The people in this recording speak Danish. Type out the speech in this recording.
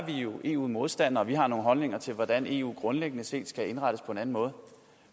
jo eu modstandere vi har nogle holdninger til hvordan eu grundlæggende set skal indrettes på en anden måde